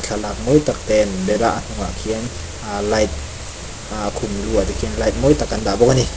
thlalak mawi tak te an bel a a hnung ah khian a light a khum lu ah te khian light mawi tak an dah bawk ani.